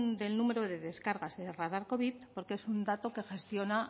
del número de descargas de radar covid porque es un dato que gestiona